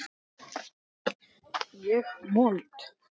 Ég mold.